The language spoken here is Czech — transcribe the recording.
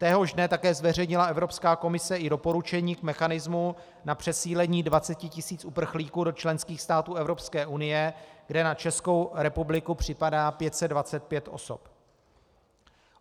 Téhož dne také zveřejnila Evropská komise i doporučení k mechanismu na přesídlení 20 tis. uprchlíků do členských států Evropské unie, kde na Českou republiku připadá 525 osob.